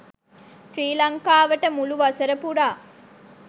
ශ්‍රී ලංකාවට මුළු වසර පුරා